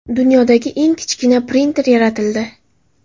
Dunyodagi eng kichkina printer yaratildi.